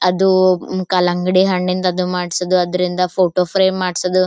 ಅದು ಕಲಂಗಡಿ ಹಣ್ಣಿಂದು ಅದು ಮಾಡ್ಸಿದ್ದು ಅದ್ರಿಂದ ಫೋಟೋ ಫ್ರೇಮ್ ಮಾಡ್ಸಿದ್ದು.